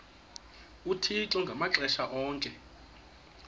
uthixo ngamaxesha onke